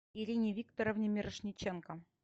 ирине викторовне мирошниченко